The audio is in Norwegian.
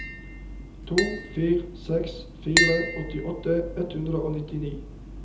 to fire seks fire åttiåtte ett hundre og nittini